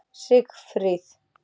Sigfríð